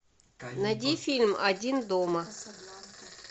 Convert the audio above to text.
найди фильм один дома